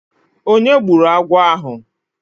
Onye gburu agwọ̀ ahụ?